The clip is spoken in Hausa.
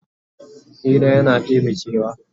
Hira yana ɗebe kewa